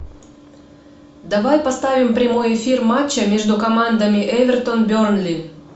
давай поставим прямой эфир матча между командами эвертон бернли